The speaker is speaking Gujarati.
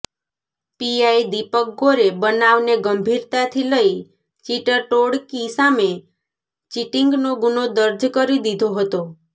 પીઆઇ દીપક ગોરે બનાવને ગંભીરતાથી લઇ ચીટર ટોળકી સામે ચીટિંગનો ગુનો દર્જ કરી દીધો હતો